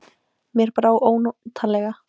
Mér brá ónotalega.